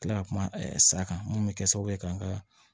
Kila ka kuma sa kan mun bɛ kɛ sababu ye ka n ka